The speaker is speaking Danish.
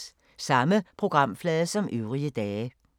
Samme programflade som øvrige dage